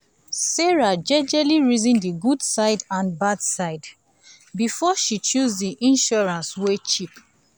sarah jejely reason the good side and badside before she she choose the insurance wey cheap